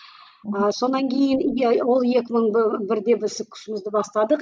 ы сонан кейін иә ол екі мың бірде біз күшімізді бастадық